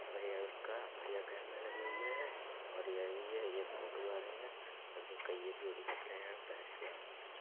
और यह उसका बढियां कैमरे लगे हुए हैंऔर ये भी है। यह फोटो वारे हैं कई एक जोड़ी कपड़े हैं । पहन के आराम से चल--